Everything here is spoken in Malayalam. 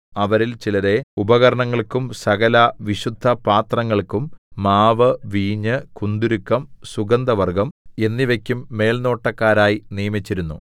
അവരിൽ ചിലരെ ഉപകരണങ്ങൾക്കും സകലവിശുദ്ധപാത്രങ്ങൾക്കും മാവ് വീഞ്ഞ് കുന്തുരുക്കം സുഗന്ധവർഗ്ഗം എന്നിവയ്ക്കും മേൽനോട്ടക്കാരായി നിയമിച്ചിരുന്നു